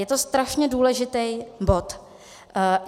Je to strašně důležitý bod.